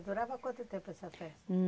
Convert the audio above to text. Durava quanto tempo essa festa?